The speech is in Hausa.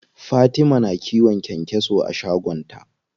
Fatima na kiwon kyankyaso a shagon ta.